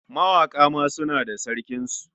Mawaƙa ma suna da sarkinsu.